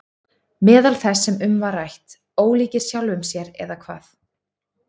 Meðal þess sem um var rætt: Ólíkir sjálfum sér eða hvað?